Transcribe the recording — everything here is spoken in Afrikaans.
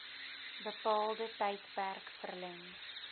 bepaalde tydperk verleng